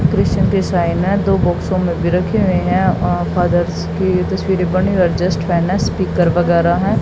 Christian की sign दो बॉक्सो में रखी हुई है वहां फादर्स की तस्वीरे बनी जस्ट फैन है स्पीकर वगैरा है।